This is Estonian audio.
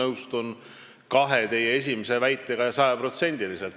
Ma nõustun kahe teie esimese väitega sajaprotsendiliselt.